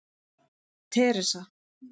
Teresa